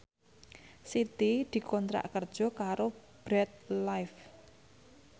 Siti dikontrak kerja karo Bread Life